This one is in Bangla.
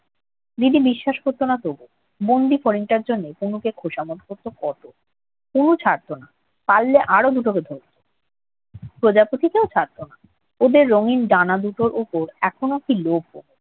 দিদি বিশ্বাস করত না তবুও। বন্দি ফড়িংটার জন্য তনুকে খোশামোদ করত কত। তনু ছাড়ত না। পারলে আরো দুটোকে ধরতো। প্রজাপতিকেও ছাড়ত না। ওদের রঙিন ডানা দুটোর উপর এখনও কি লোভ ওর!